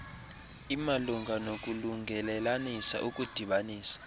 imalunga nokulungelelanisa ukudibanisa